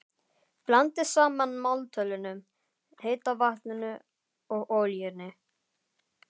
Blandið saman maltölinu, heita vatninu og olíunni.